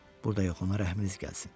Burda yox, ona rəhminiz gəlsin.